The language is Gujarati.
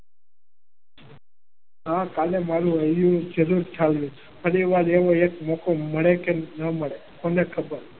ફરીવાર એવો એક મોકો મળે કે ન મળે કોને ખબર.